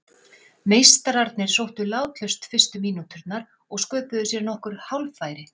Meistararnir sóttu látlaust fyrstu mínúturnar og sköpuðu sér nokkur hálffæri.